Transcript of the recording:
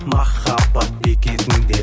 махаббат бекетінде